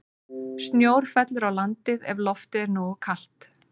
Snjór fellur á landið ef loftið er nógu kalt.